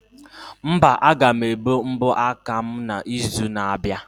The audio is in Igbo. Mba, aga m ebe mbọ aka m na izu na abịa